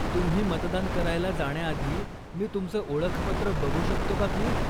तुम्ही मतदान करायला जाण्याआधी मी तुमचं ओळखपत्र बघू शकतो का प्लीज?